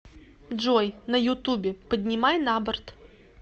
джой на ютубе поднимай на борт